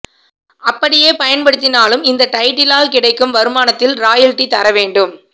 அப்படியே பயன்படுத்தினாலும் இந்த டைட்டிலால் கிடைக்கும் வருமானத்தில் ராயல்டி தர வேண்டும்